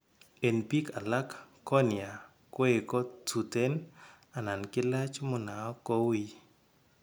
En biik alak cornea koeko tuten anan kilach munaok ko wuuy.